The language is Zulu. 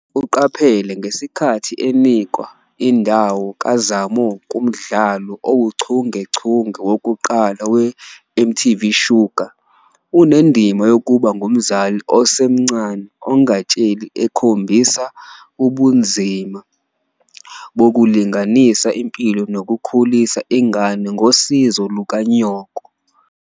Uqaphele ngesikhathi enikwa indawo kaZamo kumdlalo owuchungechunge wokuqala "weMTV Shuga". Unendima yokuba ngumzali osemncane ongatsheli ekhombisa ubunzima bokulinganisa impilo nokukhulisa ingane ngosizo lukanyoko.